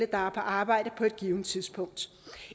på arbejde på et givent tidspunkt